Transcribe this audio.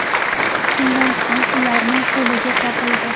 Shundan so‘ng ularning o‘ligi topildi.